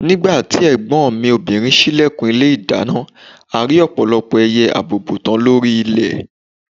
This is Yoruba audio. Nígbà tí ẹ̀gbọ́n mi obìnrin ṣílẹ̀kùn ilé ìdáná, a rí ọ̀pọ̀lọpọ̀ ẹyẹ àbùùbùtán lórí ilẹ̀